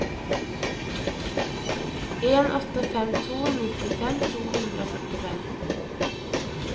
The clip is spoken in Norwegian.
en åtte fem to nittifem to hundre og førtifem